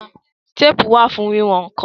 Téèpù wà fún wíwọn nǹkan